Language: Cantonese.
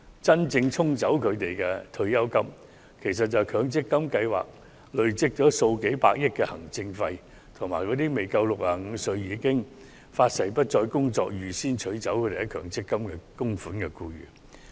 真正沖走他們退休金的是強積金計劃累計數百億元的行政費，以及那些不足65歲已誓言不再工作，預先取走強積金供款的僱員。